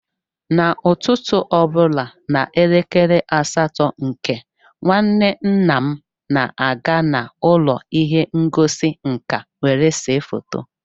n’ụtụtụ ọ bụla n’elekere asatọ nke, nwanne nna m na-aga n’ụlọ ihe ngosi nka were se foto